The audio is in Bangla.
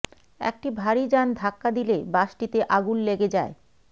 একটি ভারি যান ধাক্কা দিলে বাসটিতে আগুন লেগে যায়